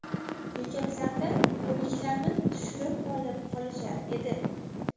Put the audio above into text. Bekatlarda o‘liklarni tushirib olib qolishar edi.